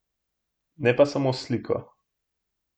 Ne pa samo s sliko.